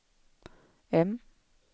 M